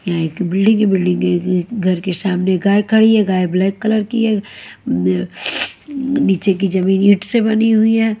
यहाँ एक बिल्डिंग है बिल्डिंग के घर के सामने गाय खड़ी है गाय ब्लैक कलर की है नीचे की जमीन ईंट से बनी हुई है।